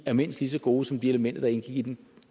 er mindst lige så gode som de elementer der indgik i den